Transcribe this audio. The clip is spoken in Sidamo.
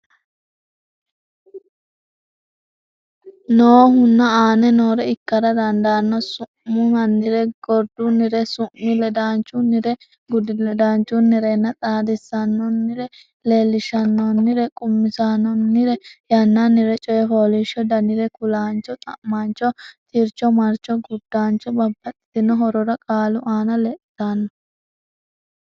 nnohuno aane noore ikkara dandaanno Su munnire gurdunnire su mi ledaanchunnire gurdi ledaanchunnirenna xaadisaanonnire Leellishaanonnire qummisaanonnire yannannire Coy fooliishsho danire kulaancho xa maancho tircho marcho gurdancho Babbaxxitino horora qaalu aana lexxitanno.